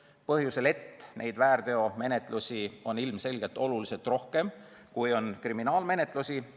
Sel põhjusel, et neid väärteomenetlusi on ilmselgelt oluliselt rohkem kui kriminaalmenetlusi.